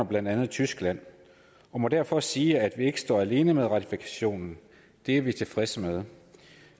blandt andet tyskland og må derfor sige at vi ikke står alene med ratifikationen det er vi tilfredse med